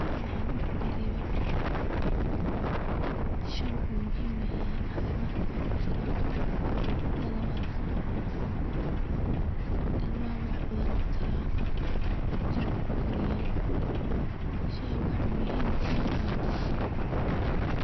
Madax xanunka uu ka reeba. shah wuxuu muhim eyehe caafimadka kujira, tan labad ilmaha wax badan u utaraa, jirku ukoriya, shaha wax muhim badan u haya aya jirta